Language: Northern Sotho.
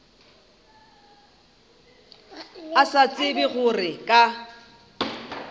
a sa tsebe gore ka